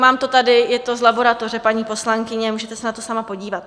Mám to tady, je to z laboratoře, paní poslankyně, můžete se na to sama podívat.